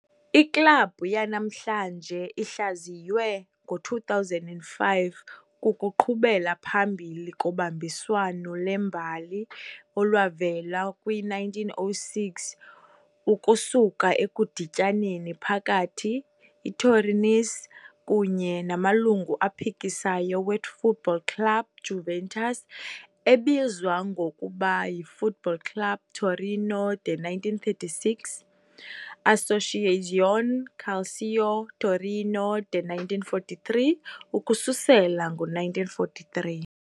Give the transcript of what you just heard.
Iklabhu yanamhlanje, ihlaziywe ngo-2005, kukuqhubela phambili kobambiswano lwembali olwavela kwi-1906 ukusuka ekudityaneni phakathi ITorinese kunye namalungu aphikisayo we-Foot-Ball Club Juventus, ebizwa ngokuba yi"-Foot Ball Club Torino" de 1936, "Associazione Calcio Torino" de 1943, ukususela ngo-1943.